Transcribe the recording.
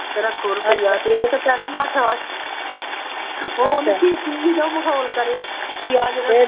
ਤੇਰਾ ਖੁਰ ਉਹ ਸੀਰੀ ਜੋ ਮਾਹੌ਼ੋਲ ਕਰੇ, ਯਾਰ ਜਦੋਂ